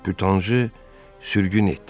Bütanjı sürgün etdilər.